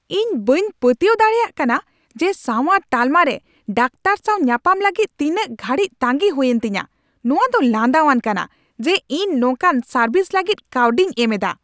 ᱤᱧ ᱵᱟᱹᱧ ᱯᱟᱹᱛᱭᱟᱹᱣ ᱫᱟᱲᱮᱭᱟᱜ ᱠᱟᱱᱟ ᱡᱮ ᱥᱟᱣᱟᱨ ᱛᱟᱞᱢᱟ ᱨᱮ ᱰᱟᱠᱛᱟᱨ ᱥᱟᱣ ᱧᱟᱯᱟᱢ ᱞᱟᱹᱜᱤᱫ ᱛᱤᱱᱟᱹᱜ ᱜᱷᱟᱹᱲᱤᱡ ᱛᱟᱸᱜᱤ ᱦᱩᱭᱮᱱ ᱛᱤᱧᱟᱹ ! "ᱱᱚᱶᱟ ᱫᱚ ᱞᱟᱸᱫᱟᱣᱟᱱ ᱠᱟᱱᱟ ᱡᱮ ᱤᱧ ᱱᱚᱝᱠᱟᱱ ᱥᱟᱨᱵᱷᱤᱥ ᱞᱟᱹᱜᱤᱫ ᱠᱟᱹᱣᱰᱤᱧ ᱮᱢ ᱮᱫᱟ ᱾"